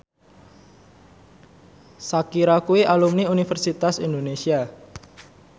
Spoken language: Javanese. Shakira kuwi alumni Universitas Indonesia